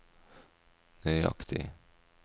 nøyaktig